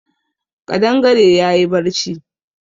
Ƙadangare ya yi barci